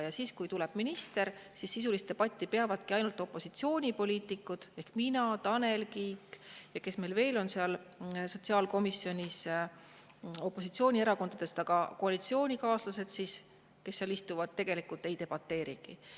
Ja siis, kui tuleb minister, siis sisulist debatti peavad ainult opositsioonipoliitikud ehk mina, Tanel Kiik ja teised, kes meil seal sotsiaalkomisjonis opositsioonierakondadest on, aga koalitsioonikaaslased, kes seal istuvad, tegelikult ei debateerigi.